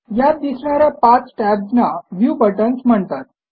यात दिसणा या पाच टॅब्स ना व्ह्यू बटन्स म्हणतात